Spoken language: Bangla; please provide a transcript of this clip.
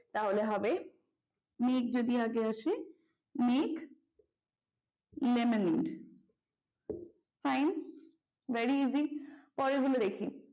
তাহলে হবে make যদি আগে আসে make lemonaid fine very easy পরের গুলো দেখি।